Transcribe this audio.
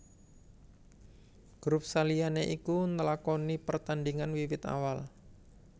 Grup saliyane iku nlakoni pertandingan wiwit awal